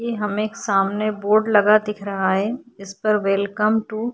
ये हमें एक सामने बोर्ड लगा दिख रहा है इस पर वेलकम टू --